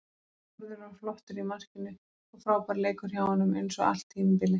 Þórður var flottur í markinu og frábær leikur hjá honum eins og allt tímabilið.